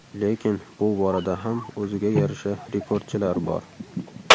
Lekin bu borada ham o‘ziga yarasha rekordchilar bor.